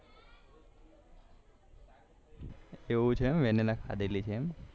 એવું છે એમ વેનીલા ખાધેલી છે એમ